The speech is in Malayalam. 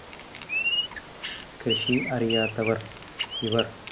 കൃഷി അറിയാത്തവർ ഇവർ